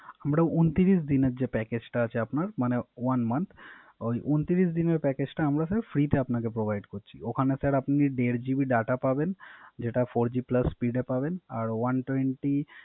আমরা ঊনত্রিশ দিনের যে Package টা আছে আপনার মানে One month ওই ঊনত্রিশ দিনের Package টা আমরা Sir free তে আপনাকে Provide করছি। ওখানে স্যার আপনি দের জিবি ডাটা পাবেন যেটা Four G plus speed এ পাবেন